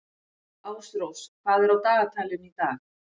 Ásrós, hvað er á dagatalinu í dag?